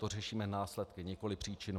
To řešíme následky, nikoli příčinu.